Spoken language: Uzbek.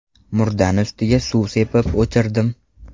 Murdani ustiga suv sepib o‘chirdim.